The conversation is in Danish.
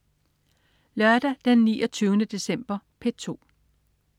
Lørdag den 29. december - P2: